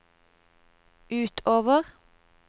utover